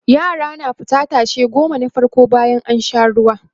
yara na fita tashe goma na farko bayan an Sha ruwa